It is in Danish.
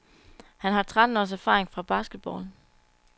Han har tretten års erfaring fra basketball.